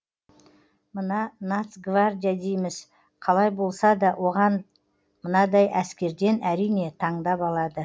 мына нацгвардия дейміз қалай болсада оған мынадай әскерден әрине тандап алады